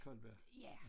Colberg